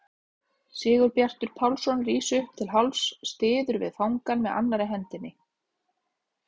Sigurbjartur Pálsson rís upp til hálfs, styður við fangann með annarri hendinni.